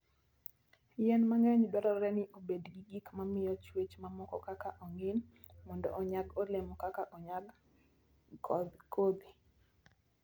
Yien mang'eny dwarore ni obed gi gik ma miyo chwech mamoko kaka ong'in, mondo onyag olemo kendo onyag kodhi.